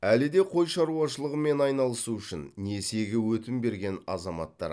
әлі де қой шаруашылығымен айналысу үшін несиеге өтім берген азаматтар